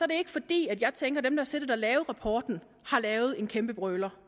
det ikke fordi jeg tænker at dem der har siddet og lavet rapporten har lavet en kæmpe brøler